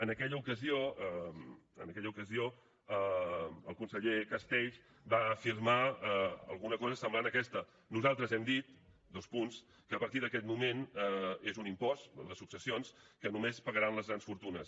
en aquella ocasió el conseller castells va afirmar alguna cosa semblant a aquesta nosaltres hem dit dos punts que a partir d’aquest moment és un impost el de successions que només pagaran les grans fortunes